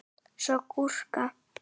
Svo gúrku.